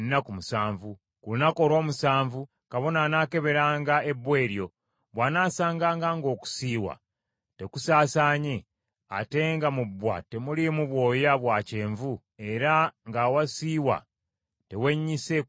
Ku lunaku olw’omusanvu kabona anaakeberanga ebbwa eryo, bw’anaasanganga ng’okusiiwa tekusaasaanye, ate nga mu bbwa temuliimu bwoya bwa kyenvu, era ng’awasiiwa tewennyise kusinga lususu,